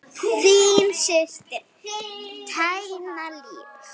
Þín systir, Tanya Líf.